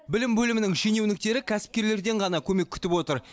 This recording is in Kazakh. білім бөлімінің шенеуніктері кәсіпкерлерден ғана көмек күтіп отыр